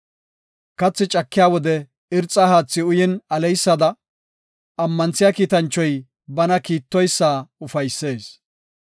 Katha cakiya wode irxa haathi uyin aleysada, ammanthiya kiitanchoy bana kiittoysa ufaysees.